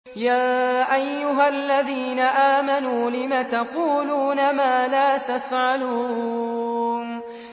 يَا أَيُّهَا الَّذِينَ آمَنُوا لِمَ تَقُولُونَ مَا لَا تَفْعَلُونَ